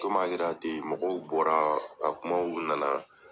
Komi a kɛra ten, mɔgɔw bɔra, a kumaw nana